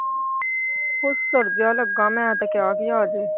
ਹੁਸੜ ਜਿਹਾ ਮੈਂ ਤੇ ਕਿਹਾ ਸੀ ਆਜੇ।